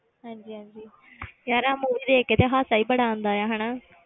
ਹਾਂਜੀ ਹਾਂਜੀ ਯਾਰ ਆਹ movie ਦੇਖ ਕੇ ਤਾਂ ਹਾਸਾ ਹੀ ਬੜਾ ਆਉਂਦਾ ਹੈ ਹਨਾ